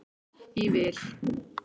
í vil.